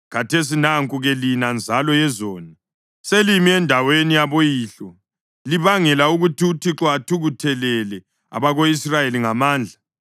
Khathesi nanku-ke lina, nzalo yezoni, selimi endaweni yaboyihlo libangela ukuthi uThixo athukuthelele abako-Israyeli ngamandla.